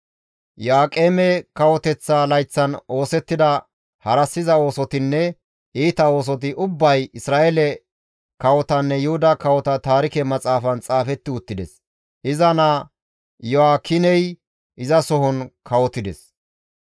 Iyo7aaqeme kawoteththa layththan oosettida harassiza oosotinne iita oosoti ubbay, Isra7eele kawotanne Yuhuda kawota Taarike Maxaafan xaafetti uttides; iza naa Iyo7aakiney izasohon kawotides.